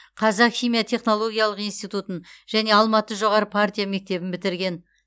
қазақ химия технологиялық институтын және алматы жоғары партия мектебін бітірген